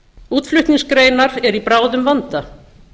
útflutningsgreinar eru í bráðum vanda